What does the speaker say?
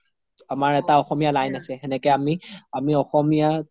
আমাৰ এটা অসমীয়া line আছে সেনেকে আমি অসমীয়া